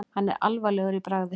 Hann er alvarlegur í bragði.